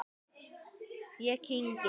Ég kyngi.